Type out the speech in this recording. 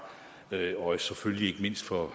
og